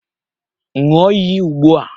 Ṅụọ iyi ugbu a!